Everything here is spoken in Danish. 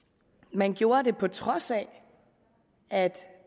man gjorde det på trods af at